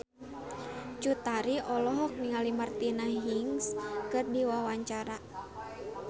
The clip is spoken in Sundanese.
Cut Tari olohok ningali Martina Hingis keur diwawancara